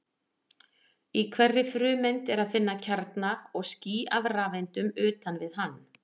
Í hverri frumeind er að finna kjarna og ský af rafeindum utan við hann.